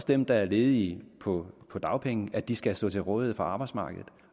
dem der er ledige på på dagpenge at de skal stå til rådighed for arbejdsmarkedet